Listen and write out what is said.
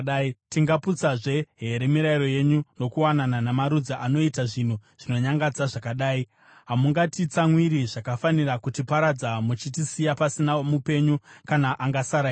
Tingaputsazve here mirayiro yenyu nokuwanana namarudzi anoita zvinhu zvinonyangadza zvakadai? Hamungatitsamwiri zvakafanira kutiparadza, muchitisiya pasina mupenyu kana angasara here?